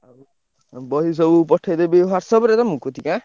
ଉଁ ବହି ସବୁ ପଠେଇଦେବି WhatsApp ରେ ତମ କତିକି ଆଁ?